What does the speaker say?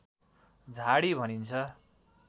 झाडी भनिन्छ